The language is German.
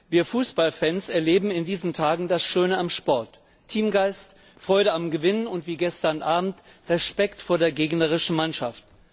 Wir Fußballfans erleben in diesen Tagen das Schöne am Sport Teamgeist, Freude am Gewinnen und, wie gestern Abend, Respekt vor der gegnerischen Mannschaft.